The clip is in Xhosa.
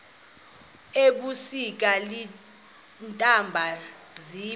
ebusika iintaba ziba